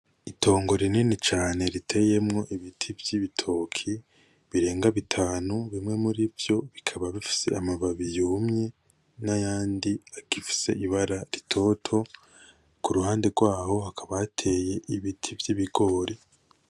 Itongo rinini cane riteyemwo ibiti vyibitoki birenga bitanu bimwe murivyo bikaba bifise amababi yumye ,nayandi agifise ibara rutoto, kuruhande rwaho hakaba hateye ibiti vyibigori.